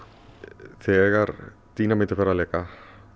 þegar dínamít er farið að leka